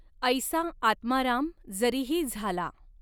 ऐसा आत्माराम जरीही झाला।